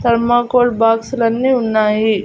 Thermocol బాక్సులన్నీ ఉన్నాయి.